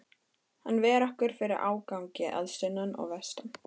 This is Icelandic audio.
Hann ver okkur fyrir ágangi að sunnan og vestan.